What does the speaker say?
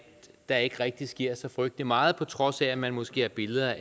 der ikke rigtig sker så frygtelig meget på trods af at man måske har billeder